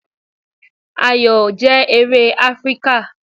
Ayò jẹ́ eré Áfríkà.